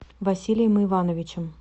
василием ивановичем